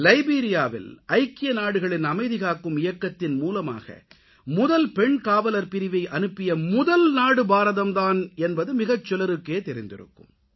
லைபீரியாவில் ஐக்கிய நாடுகளின் அமைதி காக்கும் இயக்கத்தின் மூலமாக முதல் பெண் காவலர் பிரிவை அனுப்பிய முதல் நாடு பாரதம் தான் என்பது மிகச் சிலருக்கே தெரிந்திருக்கும்